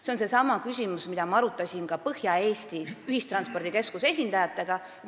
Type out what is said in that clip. See on seesama küsimus, mida ma arutasin ka Põhja-Eesti Ühistranspordikeskuse esindajatega.